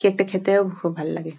Cake টা খেতেও খুব ভাল লাগে।